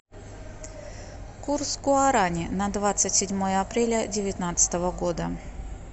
курс гуарани на двадцать седьмое апреля девятнадцатого года